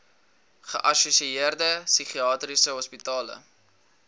geassosieerde psigiatriese hospitale